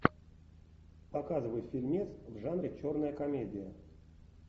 показывай фильмец в жанре черная комедия